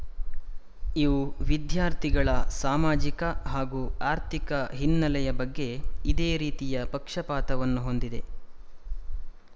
ಇವು ವಿದ್ಯಾರ್ಥಿಗಳ ಸಾಮಾಜಿಕ ಹಾಗೂ ಆರ್ಥಿಕ ಹಿನ್ನೆಲೆಯ ಬಗ್ಗೆ ಇದೇ ರೀತಿಯ ಪಕ್ಷಪಾತವನ್ನು ಹೊಂದಿದೆ